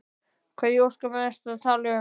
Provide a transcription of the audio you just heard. Hvað í ósköpunum ertu að tala um?